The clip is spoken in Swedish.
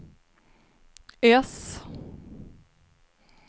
S